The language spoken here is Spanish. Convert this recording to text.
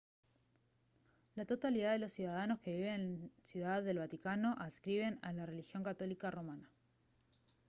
la totalidad de los ciudadanos que viven en ciudad del vaticano adscriben a la religión católica romana